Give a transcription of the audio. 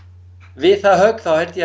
við það högg þá held ég